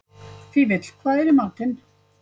Fífill, hvað er í matinn?